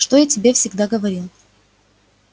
что я тебе всегда говорил